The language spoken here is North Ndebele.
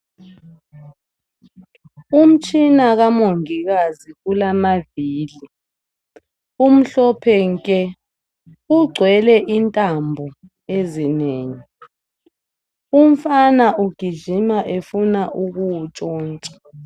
Umtshina kaMongikazi ulamavili, umhlophe nke ugcwele intambo ezinengi. Umfana ugijima efuna ukuwuntshontsha.